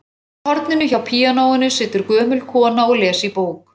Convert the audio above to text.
Í horninu hjá píanóinu situr gömul kona og les í bók.